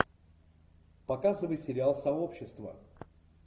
показывай сериал сообщество